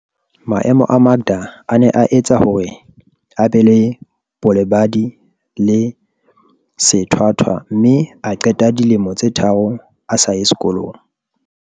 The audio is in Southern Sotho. Maemo a Makda a ne a etsa hore a be le bolebadi le sethwa thwa mme a qeta dilemo tse tharo a sa ye sekolong.